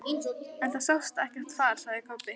En það sást ekkert far, sagði Kobbi.